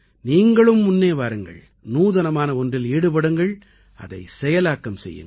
நீங்களும் முன்னே வாருங்கள் நூதனமான ஒன்றில் ஈடுபடுங்கள் அதைச் செயலாக்கம் செய்யுங்கள்